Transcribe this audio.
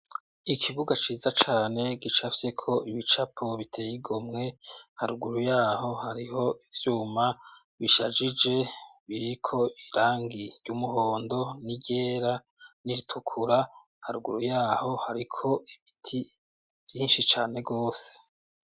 Ikibuga ciza cane gicafyeko ibicapo biteye igomwe, haruguru yaho hariho ivyuma bishajije biriko irangi ry'umuhondo n'iryera n'iritukura, haruguru yaho hariko ibiti vyinshi cane gose.